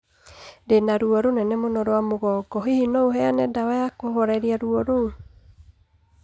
Ndĩ na ruo rũnene mũno rwa mugongo, hihi no ũheane ndawa ya kũhooreria ruo rũu